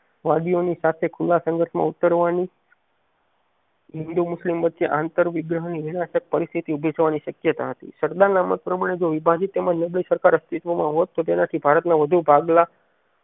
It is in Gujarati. વાદીઓ ની સાથે ખુલ્લા સંગતમાં ઉતારવાની હિન્દૂ મુસ્લિમ વચ્ચે આંતર વિગ્રહણ વિરાસત પરિસ્થિતિ ઉભી થવાની શક્યતા હતી સરદાર ના મત પ્રમાણે જો વિભાજીત તેમજ નિર્દય સરકાર અસ્તિત્વમાં હોત તેનાથી ભારત ના વધુ ભાગલા